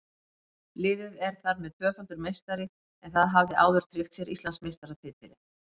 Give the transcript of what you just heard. Liðið er þar með tvöfaldur meistari en það hafði áður tryggt sér Íslandsmeistaratitilinn.